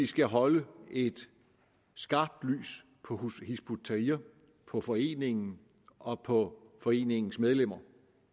skal holde et skarpt lys på hizb ut tahrir på foreningen og på foreningens medlemmer